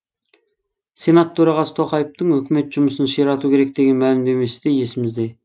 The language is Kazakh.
сенат төрағасы тоқаевтың үкімет жұмысын ширату керек деген мәлімдемесі де есімізде